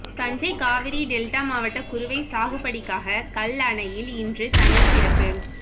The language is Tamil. தஞ்சை காவிரி டெல்டா மாவட்ட குறுவை சாகுபடிக்காக கல்லணையில் இன்று தண்ணீர் திறப்பு